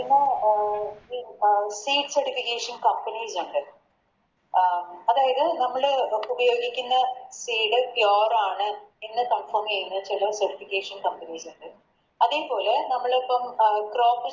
പിന്നെ അഹ് Free certification companies ഇണ്ട് അഹ് അതായത് നമ്മള് ഉപയോഗിക്കുന്ന Seed pure ആണ് എന്ന് Confirm ചെയ്ന്ന ചില Verification companies ഇണ്ട്